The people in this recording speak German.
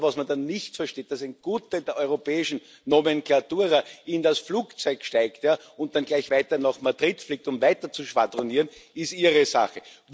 Nur, was man dann nicht versteht, dass ein Gutteil der europäischen Nomenklatura in das Flugzeug steigt und dann gleich weiter nach Madrid fliegt, um weiter zu schwadronieren, ist Ihre Sache.